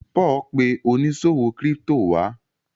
Paul pe oniṣòwo crypto wá.